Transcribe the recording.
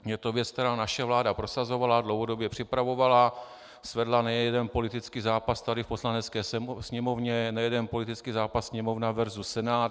Je to věc, kterou naše vláda prosazovala, dlouhodobě připravovala, svedla nejeden politický zápas tady v Poslanecké sněmovně, nejeden politický zápas Sněmovna versus Senát.